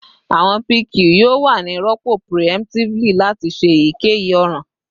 Awọn pq yoo wa ni rọpo preemptively lati se eyikeyi oran